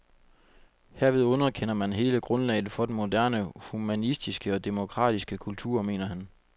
Herved underkender man hele grundlaget for den moderne humanistiske og demokratiske kultur, mener han.